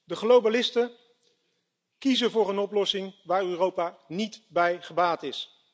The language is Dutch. De globalisten kiezen voor een oplossing waar Europa niet bij gebaat is.